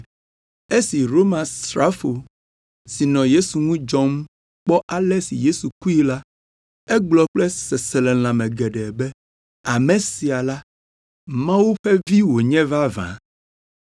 Esi Romasrafo si nɔ Yesu ŋu dzɔm kpɔ ale si Yesu kue la, egblɔ kple seselelãme geɖe be, “Ame sia la, Mawu ƒe Vi wònye vavã!”